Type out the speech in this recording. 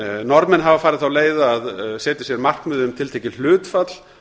norðmenn hafa farið þá leið að setja sér markmið um tiltekið hlutfall